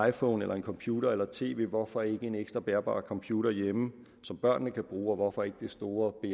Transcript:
iphone eller en computer eller et tv hvorfor ikke en ekstra bærbar computer hjemme som børnene kan bruge og hvorfor ikke det store